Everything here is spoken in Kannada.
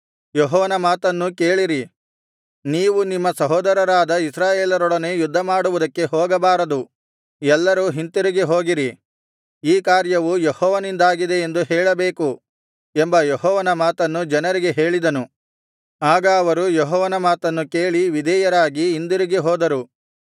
ಯೆಹೋವನ ಮಾತನ್ನು ಕೇಳಿರಿ ನೀವು ನಿಮ್ಮ ಸಹೋದರರಾದ ಇಸ್ರಾಯೇಲರೊಡನೆ ಯುದ್ಧಮಾಡುವುದಕ್ಕೆ ಹೋಗಬಾರದು ಎಲ್ಲರೂ ಹಿಂತಿರುಗಿ ಹೋಗಿರಿ ಈ ಕಾರ್ಯವು ಯೆಹೋವನಿಂದಾಗಿದೆ ಎಂದು ಹೇಳಬೇಕು ಎಂಬ ಯೆಹೋವನ ಮಾತನ್ನು ಜನರಿಗೆ ಹೇಳಿದನು ಆಗ ಅವರು ಯೆಹೋವನ ಮಾತನ್ನು ಕೇಳಿ ವಿಧೇಯರಾಗಿ ಹಿಂದಿರುಗಿ ಹೋದರು